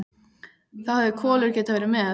Þá hefði Kolur getað verið með.